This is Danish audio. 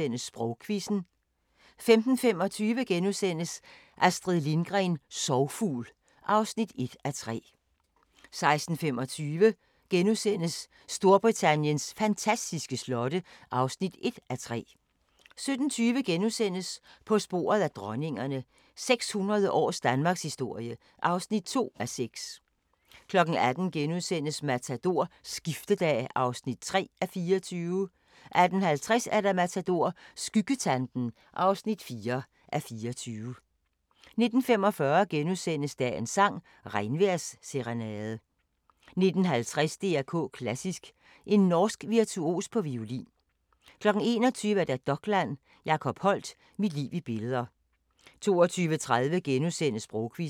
14:45: Sprogquizzen * 15:25: Astrid Lindgren – Sorgfugl (1:3)* 16:25: Storbritanniens fantastiske slotte (1:3)* 17:20: På sporet af dronningerne – 600 års danmarkshistorie (2:6)* 18:00: Matador – Skiftedag (3:24)* 18:50: Matador – Skyggetanten (4:24) 19:45: Dagens sang: Regnvejrsserenade * 19:50: DR K Klassisk: En norsk virtuos på violin 21:00: Dokland: Jacob Holdt – Mit liv i billeder 22:30: Sprogquizzen *